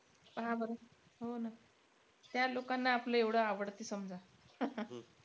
पहा बरं. हो ना. त्या लोकांना आपलं एवढं आवडतं समजा.